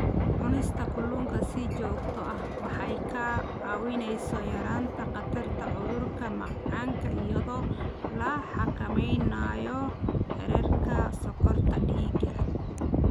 Cunista kalluunka si joogto ah waxay kaa caawinaysaa yaraynta khatarta cudurka macaanka iyadoo la xakameynayo heerarka sonkorta dhiigga.